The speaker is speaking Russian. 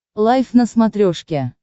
лайф на смотрешке